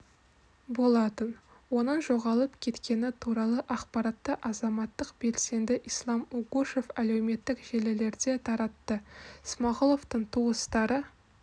болатын оның жоғалып кеткені туралы ақпаратты азаматтық белсенді ислам угушев әлеуметтік желілерде таратты смағұловтың туыстары